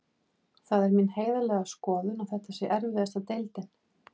Það er mín heiðarlega skoðun að þetta sé erfiðasta deildin.